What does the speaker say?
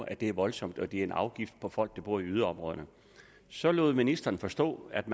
at det er voldsomt og at det er en afgift på folk der bor i yderområderne så lod ministeren forstå at